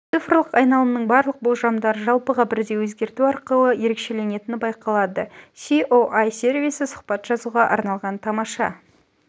цифрлық айналымның барлық болжамдары жалпыға бірдей өзгерту арқылы ерекшеленетіні байқалады соі сервисі сұбат жазуға арналған тамаша